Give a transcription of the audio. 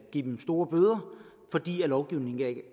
give dem store bøder fordi lovgivningen ikke